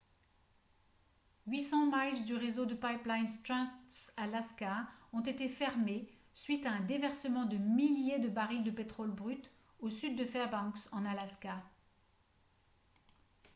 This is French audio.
800 miles du réseau de pipelines trans-alaska ont été fermés suite à un déversement de milliers de barils de pétrole brut au sud de fairbanks en alaska